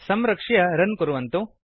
संरक्ष्य रन् कुर्वन्तु